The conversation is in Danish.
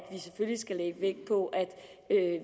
vi selvfølgelig skal lægge vægt på at